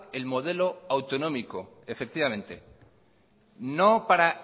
el modelo autonómico efectivamente no para